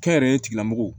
Kɛnyɛrɛye tigilamɔgɔw